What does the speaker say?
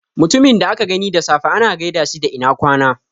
Mutumin da aka gani da safe ana gaida shi da ina ƙwana